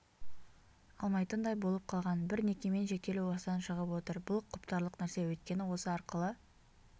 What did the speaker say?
алмайтындай болып қалған бір некемен шектелу осыдан шығып отыр бұл құптарлық нәрсе өйткені осы арқылы